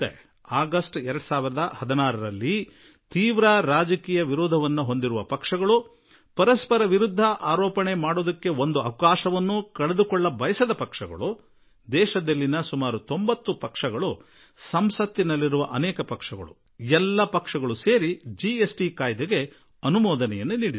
August 2016ರಲ್ಲಿ ಗಂಭೀರ ರಾಜಕೀಯ ವಿರೋಧಿ ಪಕ್ಷಗಳು ಪರಸ್ಪರರ ವಿರುದ್ಧ ಯಾವುದೇ ಅವಕಾಶವನ್ನು ಬಿಟ್ಟುಕೊಡದವರು ಹಾಗೂ ಇಡೀ ದೇಶದಲ್ಲಿ ಸರಿಸುಮಾರು 90 ಪಕ್ಷಗಳು ಸಂಸತ್ತಿನಲ್ಲೂ ಅನೇಕಾನೇಕ ಪಕ್ಷಗಳು ಎಲ್ಲರೂ ಕೂಡಿಕೊಂಡು ಜಿಎಸ್ ಟಿ ಮಸೂದೆಯನ್ನು ಅಂಗೀಕರಿಸಿದವು